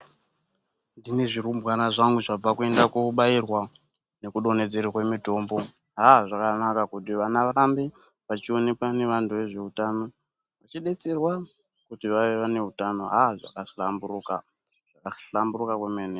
Ndinezvirumbwana zvangu zvabva kuenda kobairwa nekudonhedzerwe mitombo. Haa, zvakanaka kuti vana vahambe vachionekwa nevantu vezvehutano, vachidetserwa kuti vave nehutano. Haa, zvakahlamburuka, zvakahlamburuka kwemene.